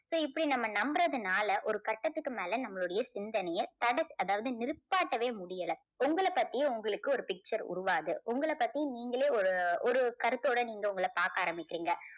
இப்போ இப்படி நம்ம நம்புறதுனால ஒரு கட்டத்துக்கு மேல நம்மளுடைய சிந்தனையை தடை அதாவது நிப்பாட்டவே முடியல. உங்கள பத்தி உங்களுக்கு ஒரு picture உருவாகுது. உங்கள பத்தி நீங்களே ஒரு ஒரு கருத்தோட நீங்க உங்களை பார்க்க ஆரம்பிக்கறீங்க.